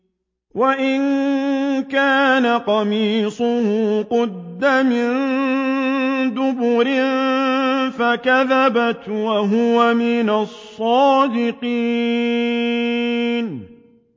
وَإِن كَانَ قَمِيصُهُ قُدَّ مِن دُبُرٍ فَكَذَبَتْ وَهُوَ مِنَ الصَّادِقِينَ